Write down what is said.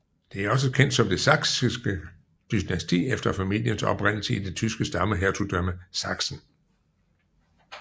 Det er også kendt som det Saksiske dynasti efter familiens oprindelse i det tyske stammehertugdømme Sachsen